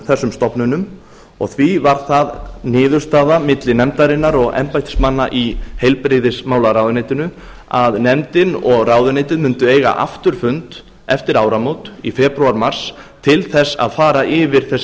þessum stofnunum því var það niðurstaða milli nefndarinnar og embættismanna í heilbrigðismálaráðuneytinu að nefndin og ráðuneytið mundu eiga aftur fund eftir áramót í febrúar mars til þess að fara yfir þessi